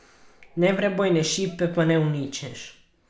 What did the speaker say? Neprebojne šipe pa ne uničiš.